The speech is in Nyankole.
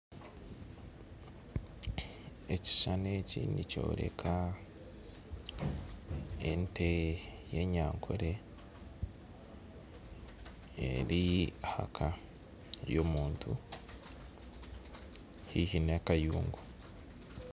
Ekishushani eki nikyoreka ente y'enyankore eri aha nka y'omuntu haiha n'akayungu